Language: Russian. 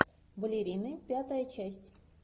балерины пятая часть